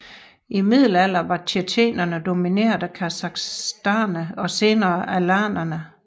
I middelalderen var tjetjenerne domineret af khazarerne og senere alanerne